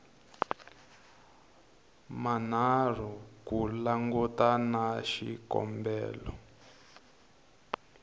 manharhu ku langutana na xikombelo